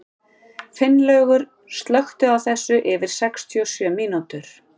Finnlaugur, slökktu á þessu eftir sextíu og sjö mínútur.